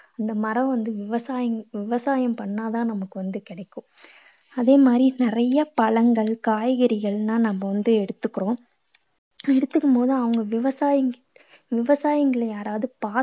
இந்த மரம் வந்து விவசாயி~ விவசாயம் பண்ணா தான் நமக்கு வந்து கிடைக்கும். அதே மாதிரி நிறைய பழங்கள் காய்கறிகளெல்லாம் நம்ம வந்து எடுத்துக்கறோம். எடுத்துக்கும் போது அவங்க விவசாயி~ விவசாயிங்கள யாராவது